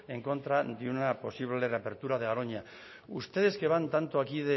en contra de una posible reapertura de garoña ustedes que van tanto aquí